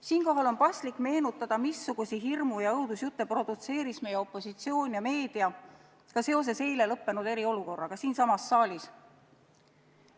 Siinkohal on paslik meenutada, missuguseid hirmu- ja õudusjutte produtseerisid meie opositsioon ja meedia ka seoses eile lõppenud eriolukorraga siinsamas saalis.